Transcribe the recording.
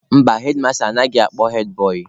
Mba, hedmasta anaghị akpọ hedbọị.